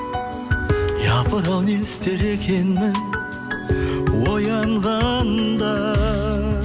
япыр ау не істер екенмін оянғанда